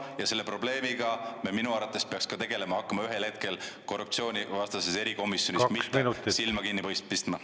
Ja selle probleemiga me minu arvates peaks ka tegelema hakkama ühel hetkel korruptsioonivastases erikomisjonis, mitte silma kinni pistma.